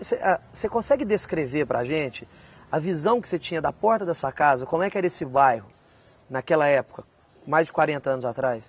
Você, ah, você consegue descrever para a gente a visão que você tinha da porta da sua casa, como é que era esse bairro naquela época, mais de quarenta anos atrás?